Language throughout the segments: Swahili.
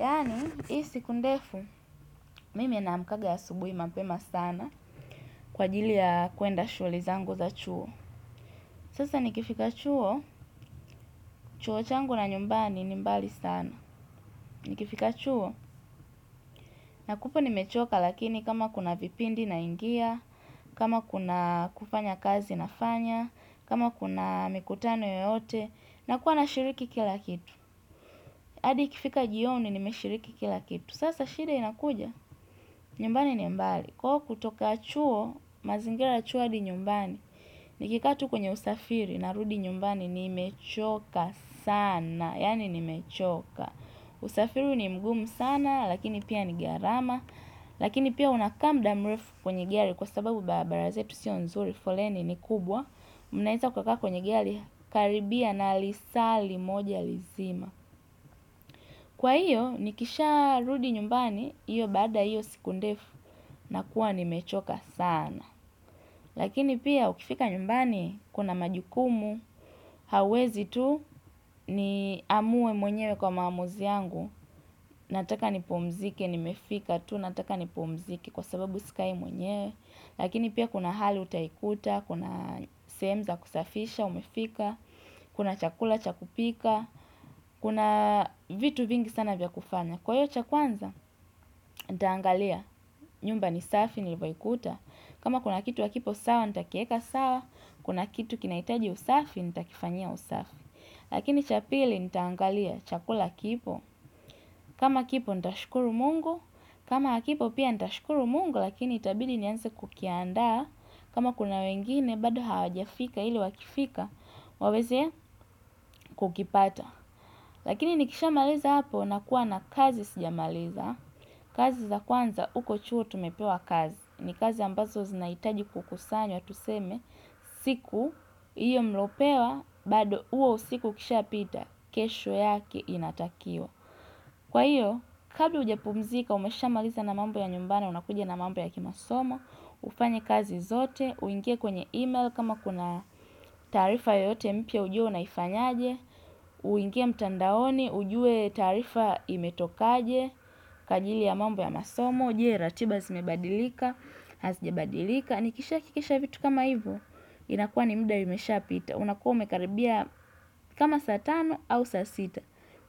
Yaani, hii siku ndefu, mimi namkaga asubuhi mapema sana kwa ajili ya kuenda shugli zangu za chuo. Sasa nikifika chuo, chuo changu na nyumbani ni mbali sana. Nikifika chuo, nakupo ni mechoka lakini kama kuna vipindi naingia, kama kuna kufanya kazi nafanya, kama kuna mikutano yoyote, na kuwa na shiriki kila kitu. Adi ikifika jioni nimeshiriki kila kitu, sasa shida inakuja, nyumbani ni mbali. Kwa hivyo kutoka chuo mazingira ya chuo adi nyumbani. Nikikaa tu kwenye usafiri narudi nyumbani ni mechoka sana. Yaani nimechoka. Usafiri ni mgumu sana lakini pia ni gharama. Lakini pia unakaa muda mrefu kwenye gari kwa sababu barabara zetu siyo nzuri. Foleni ni kubwa. Mnaweza kukaka kwenye gari karibia na lisali moja lizima. Kwa hiyo nikisha rudi nyumbani. Iyo baada iyo siku ndefu nakuwa ni mechoka sana. Lakini pia ukifika nyumbani kuna majukumu. Hawezi tu ni amue mwenyewe kwa mamuzi yangu. Nataka ni pumzike nimefika tu nataka ni pumzike kwa sababu sikai mwenyewe. Lakini pia kuna hali utaikuta, kuna sehemu za kusafisha umefika. Kuna chakula chakupika, kuna vitu vingi sana vya kufanya. Kwa hiyo cha kwanza, nitaangalia nyumba ni safi, nilvoikuta. Kama kuna kitu hakipo sawa kipo sawa, nitakieka sawa. Kuna kitu kinaitaji usafi, nitakifanyia usafi. Lakini cha pili, nitaangalia chakula kipo. Kama kipo, nitashukuru mungu. Kama hakipo pia nitashukuru mungu. Lakini, itabidi nianze kukianda. Kama kuna wengine, bado hawajafika ili wakifika. Waweze kukipata. Lakini, nikisha maliza hapo, nakua na kazi sijamaliza. Kazi za kwanza uko chuo tumepewa kazi. Ni kazi ambazo zinaitaji kukusanywa tuseme siku hiyo mliopewa. Bado huo usiku ikisha pita. Kesho yake inatakiwa. Kwa hiyo kabla hujapumzika umesha maliza na mambo ya nyumbani. Unakuja na mambo ya kimasomo ufanye kazi zote uingie kwenye email kama kuna taarifa yoyote mpya ujue unaifanyaje uingie mtandaoni ujue taarifa imetokaje. Kwa ajili ya mambo ya masomo. Je ratiba zimebadilika. Hazijabadilika nikisha hakikisha vitu kama hivo inakua ni muda imeshapita. Unakua umekaribia kama saa tano au saa sita.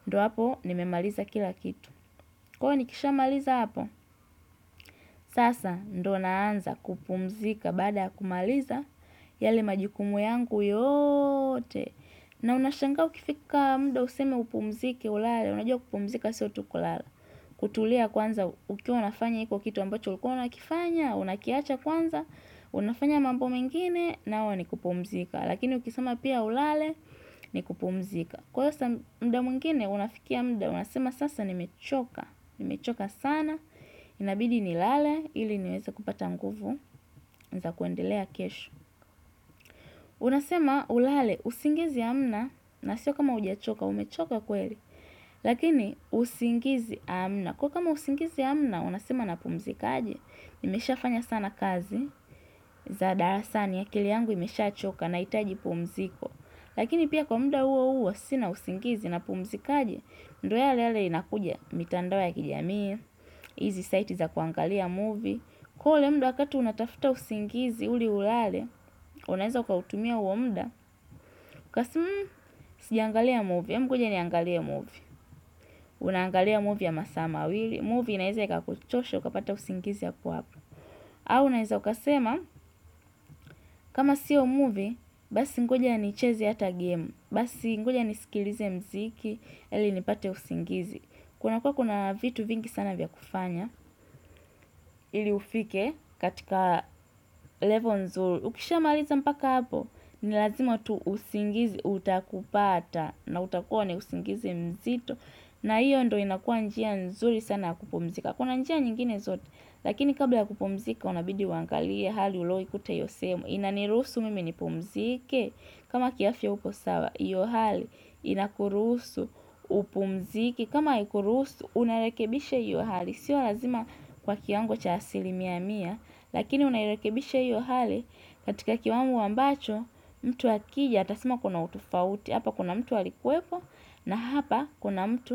Ndio hapo nimemaliza kila kitu. Kwa hiyo nikisha maliza hapa sasa ndio naanza kupumzika baada ya kumaliza. Yale majukumu yangu yote. Na unashanga ukifika muda useme upumzike ulale, unajua kupumzika sio tu kulala. Kutulia kwanza ukiwa unafanya iko kitu ambacho ulikua unakifanya, unakiacha kwanza, unafanya mambo mengine nao ni kupumzika. Lakini ukisema pia ulale ni kupumzika. Kwa hiyo saa muda mwingine, unafikia muda, unasema sasa nimechoka, nimechoka sana. Inabidi ni lale, ili niweze kupata nguvu, zakuendelea kesho. Unasema ulale, usingizi hamna, nasio kama ujachoka, umechoka kweli. Lakini usingizi amna kwa kama usingizi amna unasema na pumzikaje. Nimeshafanya sana kazi zadarasani akili yangu imeshachoka nahitaji pumziko, lakini pia kwa muda huwo huwo sina usingizi na pumzikaje ndio yale yale inakuja mitandao ya kijamii hizi sites za kuangalia movie kwa hio ule muda unatafuta usingizi ili ulale. Unaweza ukautumia huo muda. Kwa simu sijaangalia movie ebu ngoja niangalie movie. Unaangalia movie ya masaa mawili. Movie inaweza iakakuchoshe. Ukapata usingizi hapo hapo. Au unaweza ukasema. Kama siyo movie basi ngoja nicheze hata game. Basi ngoja nisikilize muziki ili nipate usingizi. Kunakuwa kuna vitu vingi sana vya kufanya. Ili ufike katika level nzuri. Ukishamaliza mpaka hapo ni lazima tu usingizi utakupata. Na utakuwa ni usingizi mzito. Na hiyo ndio inakuwa njia nzuri sana ya kupumzika. Kuna njia nyingine zote lakini kabla ya kupumzika unabidi uangalie hali uliyoikuta hiyo sehemu inanirusu mimi nipumzike kama kiafya uko sawa hiyo hali inakuruhusu upumzike. Kama haikuruhusu unarekebisha hiyo hali siyo lazima kwa kiwango cha asilimia mia lakini unairekebisha hiyo hali katika kiwango ambacho mtu akija atasema kuna utofauti. Hapa kuna mtu alikuwepo na hapa kuna mtu.